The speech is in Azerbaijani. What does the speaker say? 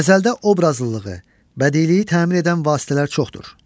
Qəzəldə obrazlılığı, bədiiliyi təmin edən vasitələr çoxdur.